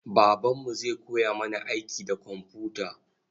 Babanmu zai koya mana aiki da komfuta.